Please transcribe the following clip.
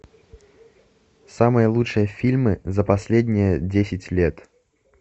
самые лучшие фильмы за последние десять лет